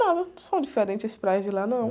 Nada, não são diferentes praias de lá, não.